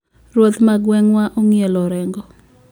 Ruoth ma gweng` wa ong`ielo orengo